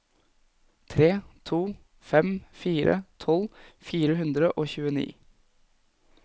tre to fem fire tolv fire hundre og tjueni